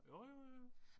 Jo jo jo